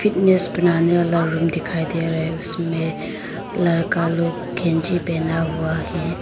Fitness बनाने वाला room दिखाई दे रहा है उसमें लड़का लोग कैंची पहना हुआ है।